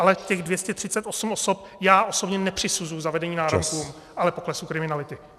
Ale těch 238 osob já osobně nepřisuzuji zavedení náramků, ale poklesu kriminality.